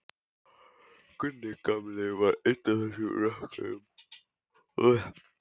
Gunni gamli var einn af þessum rökkurum.